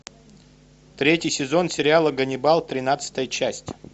третий сезон сериала ганнибал тринадцатая часть